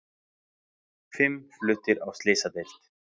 Fimm fluttir á slysadeild